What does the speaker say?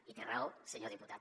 i té raó senyor diputat